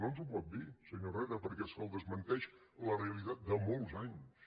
no ens ho pot dir senyor herrera perquè és que el desmenteix la realitat de molts anys